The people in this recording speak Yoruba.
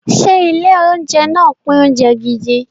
Ṣé ilé-oúnjẹ náà pín oúnjẹ gidi?